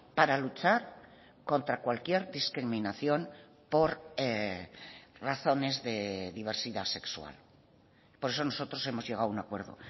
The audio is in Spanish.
para luchar contra cualquier discriminación por razones de diversidad sexual por eso nosotros hemos llegado a un acuerdo